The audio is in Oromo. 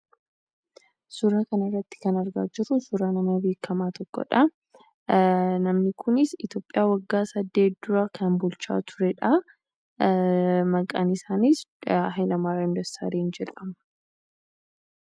Suuraa kanarratti kan argaa jirru suuraa nama beekamaa tokkoodha. Innis waggaa saddet dura kan bulchaa turedha. Maqaan isaaniis Hayilamaariyaam Dassaaleny jedhamu.